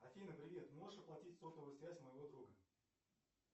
афина привет можешь оплатить сотовую связь моего друга